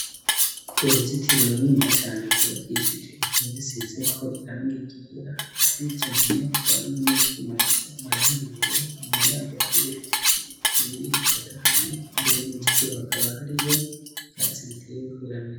Uruzitiro runiniya cane rwubakishije impome zisize ko irangi ryera, hagati yizo mpome hakaba arimo n'iryuma ifise amaranga yera inyuma yabo hari yo ibiti biteye bitotahaye, mbere mu ruzitiro hakaba hari yo vyatsi biteye.